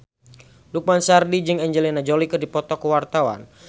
Lukman Sardi jeung Angelina Jolie keur dipoto ku wartawan